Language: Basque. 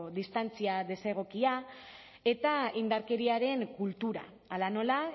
distantzia desegokia eta indarkeriaren kultura hala nola